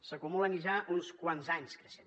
s’acumulen ja uns quants anys creixent